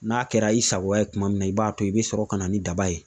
N'a kɛra i sago ye tuma min na, i b'a to yen. I bi sɔrɔ ka na ni daba ye.